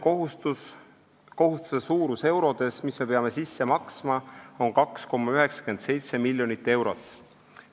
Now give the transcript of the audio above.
Kohustuse ligikaudne suurus eurodes on 2,97 miljonit eurot.